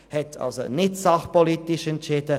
Sie hat also nicht fachpolitisch entschieden.